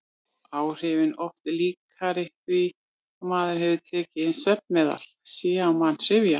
Áhrifin oft líkari því að maður hefði tekið inn svefnmeðal: sé á mann syfja.